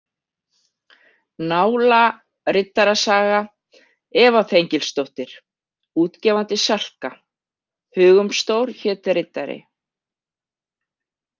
NÁLA RIDDARASAGA EVA ÞENGILSDÓTTIR Útgefandi: Salka Hugumstór hét riddari.